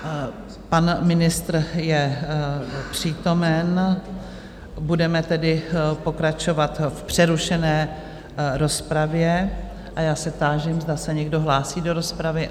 Pan ministr je přítomen, budeme tedy pokračovat v přerušené rozpravě a já se táži, zda se někdo hlásí do rozpravy.